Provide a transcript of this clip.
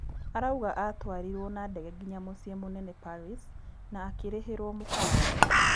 Arauga atwarirwo na ndege nginya mũciĩ mũnene Paris, na akĩrĩhĩrwo mũkawa